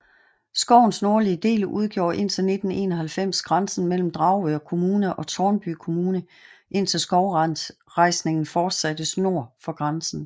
Skovens nordlige del udgjorde indtil 1991 grænsen mellem Dragør Kommune og Tårnby Kommune indtil skovrejsningen fortsattes nord for grænsen